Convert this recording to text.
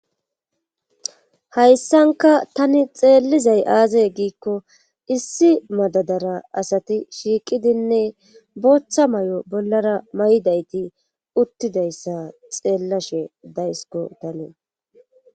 Hayssanka tani xeellizay aazay giikko issi madadara asati shiiqidinne booththa may7o bollara may7idayti uttidayssa xeellashe daysiko tani.